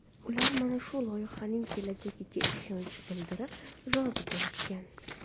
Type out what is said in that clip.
Ular mana shu loyihaning kelajagiga ishonch bildirib, rozi bo‘lishgan.